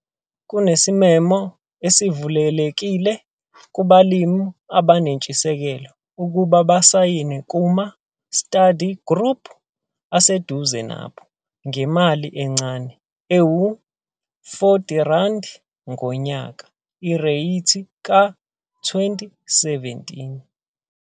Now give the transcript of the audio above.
Kunesimemo esivulelekile kubalimi abanentshisekelo ukuba basayine kuma-study group aseduze nabo ngemali encane ewu-R40,00 ngonyaka, ireythi ka-2017.